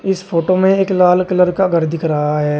इस फोटो में एक लाल कलर का घर दिख रहा है।